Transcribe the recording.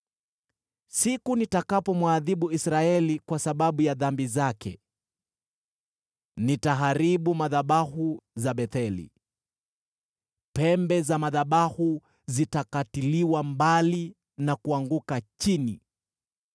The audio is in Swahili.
“Siku nitakapomwadhibu Israeli kwa sababu ya dhambi zake, nitaharibu madhabahu za Betheli; pembe za madhabahu zitakatiliwa mbali na kuanguka chini.